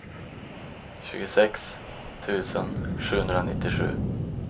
tjugosex tusen sjuhundranittiosju